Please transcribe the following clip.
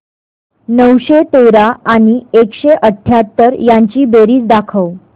नऊशे तेरा आणि एकशे अठयाहत्तर यांची बेरीज दाखव